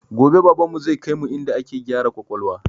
Gobe baban mu zai kaimu inda ake gyara kwakwalwa